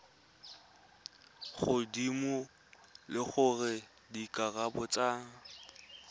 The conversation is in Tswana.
godimo le gore dikarabo tsa